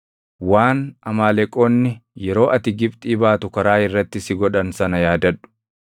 Waan Amaaleqoonni yeroo ati Gibxii baatu karaa irratti si godhan sana yaadadhu.